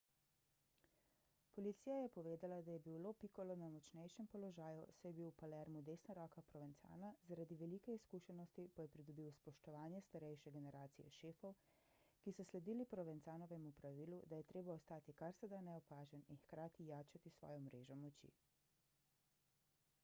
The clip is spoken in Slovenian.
policija je povedala da je bil lo piccolo na močnejšem položaju saj je bil v palermu desna roka provenzana zaradi velike izkušenosti pa je pridobil spoštovanje starejše generacije šefov ki so sledili provenzanovemu pravilu da je treba ostati kar se da neopažen in hkrati jačati svojo mrežo moči